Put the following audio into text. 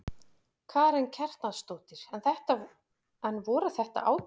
Karen Kjartansdóttir: En voru þetta átök?